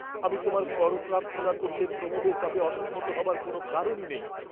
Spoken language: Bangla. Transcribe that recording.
আমি তোমার কর প্রার্থনা করলে প্রমোদের তাতে অসম্মত হবার কোন কারণই নেই।